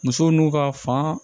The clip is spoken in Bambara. Musow n'u ka fan